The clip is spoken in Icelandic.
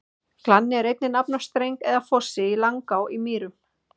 Glanni er einnig nafn á streng eða fossi í Langá á Mýrum.